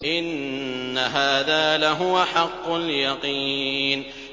إِنَّ هَٰذَا لَهُوَ حَقُّ الْيَقِينِ